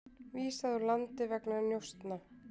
Vísað úr landi vegna njósna